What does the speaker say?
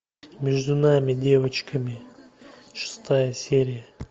между нами девочками шестая серия